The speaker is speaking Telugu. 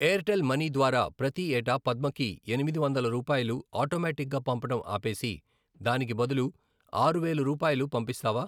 ఎయిర్టెల్ మనీ ద్వారా ప్రతి ఏటా పద్మకి ఎనిమిది వందలు రూపాయలు ఆటోమేటిక్గా పంపడం ఆపేసి దానికి బదులు ఆరు వేలు రూపాయలు పంపిస్తావా?